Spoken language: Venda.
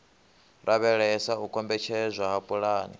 lavhelesa u kombetshedzwa ha pulani